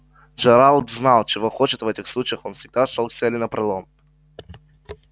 джералд знал чего хочет а в этих случаях он всегда шёл к цели напролом